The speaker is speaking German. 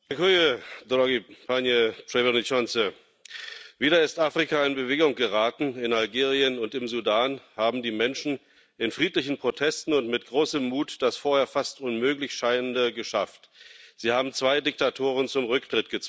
Herr Präsident! Wieder ist Afrika in Bewegung geraten. In Algerien und im Sudan haben die Menschen in friedlichen Protesten und mit großem Mut das vorher fast unmöglich Scheinende geschafft Sie haben zwei Diktatoren zum Rücktritt gezwungen.